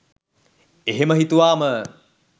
එහෙම හිතුවාම